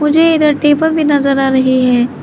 मुझे इधर टेबल भी नजर आ रही है।